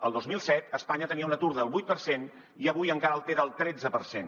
el dos mil set espanya tenia un atur del vuit per cent i avui encara el té del tretze per cent